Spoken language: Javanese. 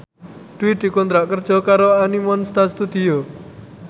Dwi dikontrak kerja karo Animonsta Studio